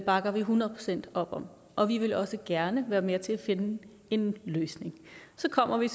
bakker vi hundrede procent op om og vi vil også gerne være med til at finde en løsning så kommer vi